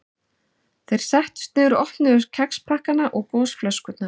Þeir settust niður og opnuðu kexpakkana og gosflöskurnar.